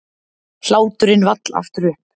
Hláturinn vall aftur upp.